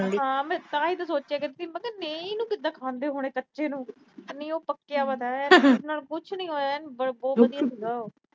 ਹਾਂ ਤਾਂ ਹੀ ਮੈਂ ਸੋੋਚਿਆ ਕਰਦੀ, ਨਹੀਂ ਇਹਨੂੰ ਕਿਵੇਂ ਖਾਂਦੇ ਹੋਣੇ ਕੱਚੇ ਨੂੰ। ਨਹੀਂ ਉਹ ਪੱਕਿਆ ਹੋਇਆ ਥਾ, ਕੁਛ ਨੀ ਹੋਇਆ ਇਹਨੂੰ, ਬਹੁਤ ਵਧੀਆ ਸੀਗਾ ਉਹ।